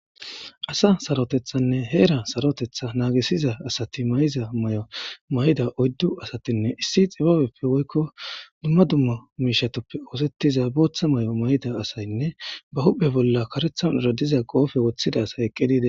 Asa sarotethanne heera sarotetha naagisiza asati may7iza may7o mayda oyddu asatinne issi xibabeppe woykko dumma dumma miishatoppe oosettiza booththa may7o mayda asaynne ba huphe bolla karethan eradiza qoofe woththida asay eqqi diide.